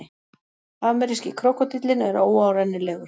Ameríski krókódíllinn er óárennilegur.